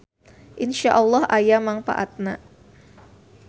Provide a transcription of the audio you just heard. InsyaAlloh aya mangpaatna.